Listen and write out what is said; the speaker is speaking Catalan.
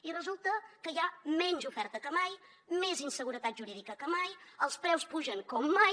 i resulta que hi ha menys oferta que mai més inseguretat jurídica que mai els preus pugen com mai